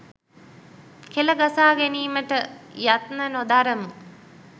කෙළ ගසාගැනීමට යත්න නොදරමු.